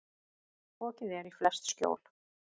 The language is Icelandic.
Fokið er í flest skjól.